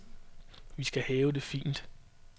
Vi skal have det fint.